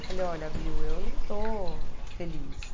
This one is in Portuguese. Eu falei, olha, Bill, eu não estou feliz.